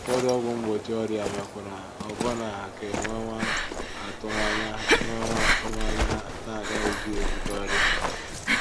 Ụfọdụ ọgwụ mgbochi ọrịa mekwara ọbụna ka e nwewa atụmanya nwewa atụmanya na a gaghịzi ebute ọrịa.